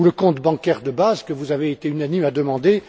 Ou le compte bancaire de base, que vous avez été unanimes à demander.